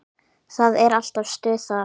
Það er alltaf stuð þar.